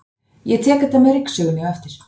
Ég tek þetta með ryksugunni á eftir.